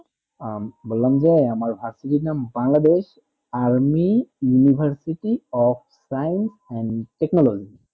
বললাম যে আমার varsity নাম bangladesh army university of science and technology